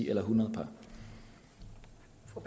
eller hundrede